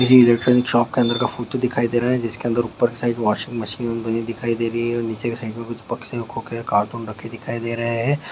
ये electronic shop के अंदर का फोटो दिखाई दे रहा है जिसके अंदर ऊपर की साइड वाशिंग मशीन बनी दिखाई दे रही है और नीचे की साइड में कुछ खोखे कार्टून रखे दिखाई दे रहे हैं।